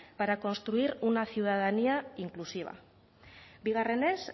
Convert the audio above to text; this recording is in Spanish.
para construir una ciudadanía inclusiva bigarrenez